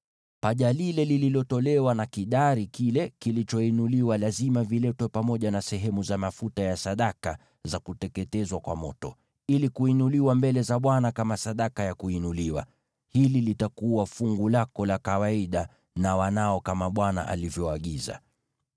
Paja lile lililotolewa na kidari kile kilichoinuliwa lazima viletwe pamoja na sehemu za mafuta ya sadaka za kuteketezwa kwa moto, ili kuinuliwa mbele za Bwana kama sadaka ya kuinuliwa. Hili litakuwa fungu lako la kawaida na wanao, kama Bwana alivyoagiza.”